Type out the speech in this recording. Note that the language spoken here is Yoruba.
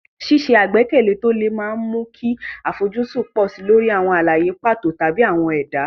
Ṣíṣe àgbékalẹ̀ tí ó le máa ń mú kí àfojúsùn pọ̀ sí i lórí àwọn àlàyé pàtó tàbí àwọn ẹ̀dá.